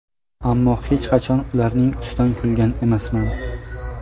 Ammo hech qachon ularning ustidan kulgan emasman.